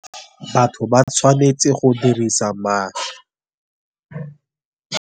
Batho ba tshwanetse go dirisa ma.